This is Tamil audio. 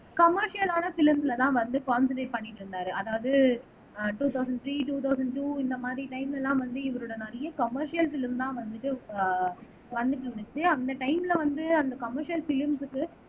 கமெர்ஷியலான ப்லிம்ஸ்லதான் வந்து, கான்செண்ட்ரேட் பண்ணிட்டு இருந்தாரு அதாவது ஆஹ் two thousand three two thousand two இந்த மாதிரி டைம்ல எல்லாம் வந்து இவரோட நிறைய கமெர்ஷியல் ப்லிம்தான் வந்துட்டு ஆஹ் வந்துட்டு இருந்துச்சு அந்த டைம்ல வந்து அந்த கமெர்ஷியல் ப்லிம்ஸ்க்கு